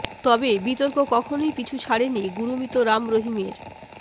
তবে বিতর্ক কখনই পিছু ছাড়েনি গুরমিত রাম রহিমের